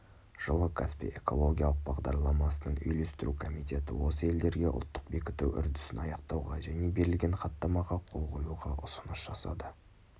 жылы каспий экологиялық бағдарламасының үйлестіру комитеті осы елдерге ұлттық бекіту үрдісін аяқтауға және берілген хаттамаға қол қоюға ұсыныс жасады